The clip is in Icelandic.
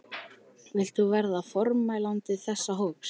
Vilt þú verða formælandi þess hóps?